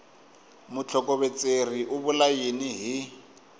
mutlhokovetseri u vula yini hi